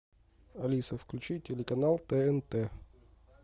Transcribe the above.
алиса включи телеканал тнт